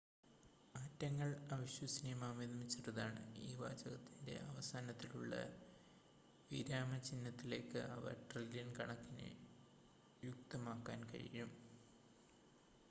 ആറ്റങ്ങൾ അവിശ്വസനീയമാംവിധം ചെറുതാണ് ഈ വാചകത്തിൻ്റെ അവസാനത്തിലുള്ള വിരാമചിഹ്നത്തിലേക്ക് അവ ട്രില്യൺ കണക്കിന് യുക്തമാക്കാൻ കഴിയും